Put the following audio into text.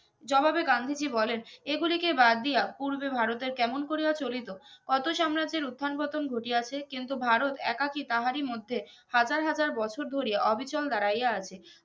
জবাবে গান্ধীজি বলেন এগুলি কে বাদ দিয়া পুর্বে ভারতের কেমন করিয়া চলিত অত সাম্রাজ্যের উত্থানপতন ঘটিয়াছে কিন্তু ভারত একা কি তাহারি মধ্যে হাজার হাজার বছর ধরে অবিচল দাঁড়াইয়া আছে